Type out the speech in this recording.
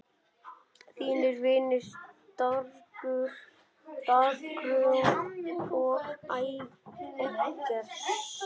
Þínir vinir, Dagrún og Eggert.